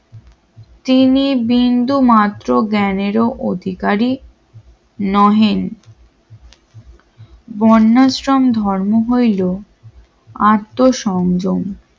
তিনি বিন্দুমাত্র জ্ঞানেরও অধিকারী নহেন বন্যাশ্রম ধর্ম হইল আত্মসংযম